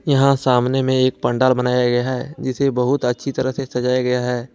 यहां सामने में एक पंडाल बनाया गया है जिसे बहुत अच्छी तरह से सजाया गया है।